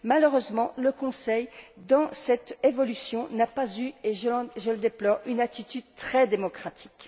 Malheureusement, le Conseil, dans cette évolution, n'a pas eu, et je le déplore, une attitude très démocratique.